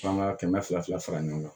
F'an ka kɛmɛ fila fila fara ɲɔgɔn kan